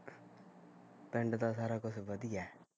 ਪਿੰਡ ਤਾਂ ਸਾਰਾ ਕੁਸ਼ ਵਧੀਆ ਐ